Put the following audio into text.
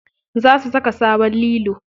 Za su saka sabon lilo.